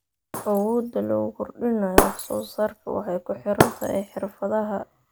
Awoodda lagu kordhinayo wax soo saarka waxay ku xiran tahay xirfadaha.